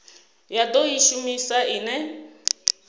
ya do i shumisa ine